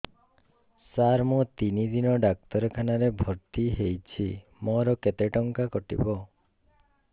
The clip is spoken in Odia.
ସାର ମୁ ତିନି ଦିନ ଡାକ୍ତରଖାନା ରେ ଭର୍ତି ହେଇଛି ମୋର କେତେ ଟଙ୍କା କଟିବ